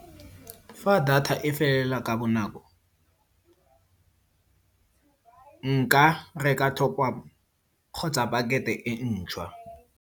Fa data e felela ka bonako, nka reka top up kgotsa pakete e e ntšhwa.